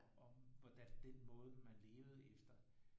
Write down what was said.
Om hvordan den måde man levede efter